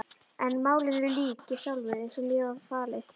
En málinu lýk ég sjálfur, eins og mér var falið.